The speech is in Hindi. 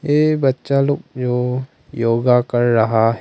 ये बच्चा लोग यों योगा कर रहा--